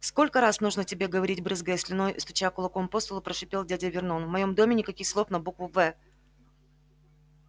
сколько раз нужно тебе говорить брызгая слюной и стуча кулаком по столу прошипел дядя вернон в моем доме никаких слов на букву в